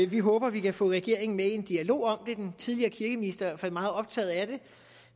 vi håber at vi kan få regeringen med i en dialog om det den tidligere kirkeminister er fald meget optaget af det